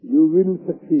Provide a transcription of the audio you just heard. you will succeed